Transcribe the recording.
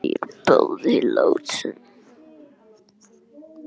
Þau er bæði látin.